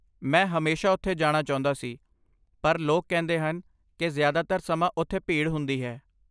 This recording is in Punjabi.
ਮੈਂ ਹਮੇਸ਼ਾ ਉੱਥੇ ਜਾਣਾ ਚਾਹੁੰਦਾ ਸੀ, ਪਰ ਲੋਕ ਕਹਿੰਦੇ ਹਨ ਕਿ ਜ਼ਿਆਦਾਤਰ ਸਮਾਂ ਉੱਥੇ ਭੀੜ ਹੁੰਦੀ ਹੈ।